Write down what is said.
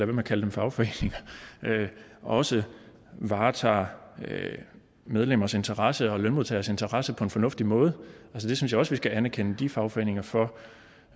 med at kalde dem fagforeninger også varetager medlemmers interesser og lønmodtageres interesse på en fornuftig måde jeg synes også vi skal anerkende de fagforeninger for